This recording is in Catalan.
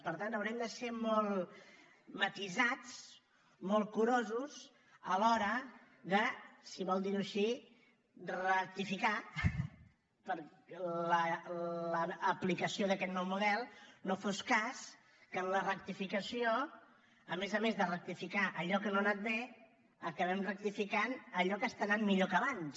per tant haurem de ser molt matisats molt curosos a l’hora de si vol dir ho així rectificar l’aplicació d’aquest nou model no fos cas que en la rectificació a més a més de rectificar allò que no ha anat bé acabem rectificant allò que està anant millor que abans